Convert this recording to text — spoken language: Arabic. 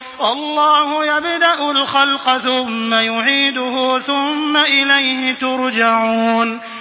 اللَّهُ يَبْدَأُ الْخَلْقَ ثُمَّ يُعِيدُهُ ثُمَّ إِلَيْهِ تُرْجَعُونَ